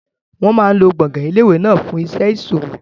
Wọn máa lo gbọ̀ngàn ilé ìwé náà fún iṣẹ́ ìṣòwò.